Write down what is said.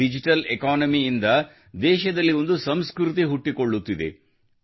digital economy ಇಂದ ದೇಶದಲ್ಲಿ ಒಂದು ಸಂಸ್ಕೃತಿಯು ಹುಟ್ಟಿಕೊಳ್ಳುತ್ತಿದೆ